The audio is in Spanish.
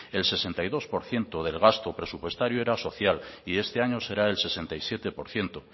el sesenta y dos por ciento del gasto presupuestario era social y este año será el sesenta y siete por ciento